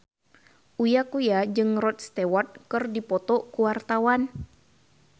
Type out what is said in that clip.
Uya Kuya jeung Rod Stewart keur dipoto ku wartawan